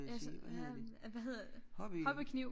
Ja sådan hvad hvad hedder det hobby kniv!